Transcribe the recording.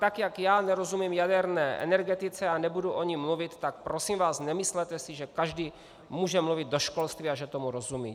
Tak jak já nerozumím jaderné energetice a nebudu o ní mluvit, tak prosím vás, nemyslete si, že každý může mluvit do školství a že tomu rozumí.